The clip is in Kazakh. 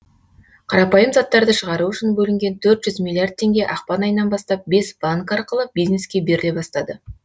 қарапайым заттарды шығару үшін бөлінген төрт жүз миллиард теңге ақпан айынан бастап бес банк арқылы бизнеске беріле бастады